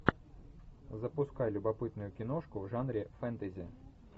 запускай любопытную киношку в жанре фэнтези